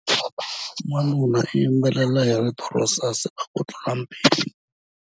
Wanuna u yimbelela hi rito ro saseka kutlula mpimo.